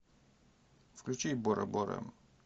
включи бора бора